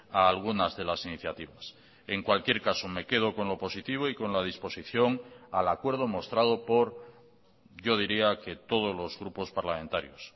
a algunas de las iniciativas en cualquier caso me quedo con lo positivo y con la disposición al acuerdo mostrado por yo diría que todos los grupos parlamentarios